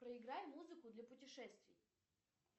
проиграй музыку для путешествий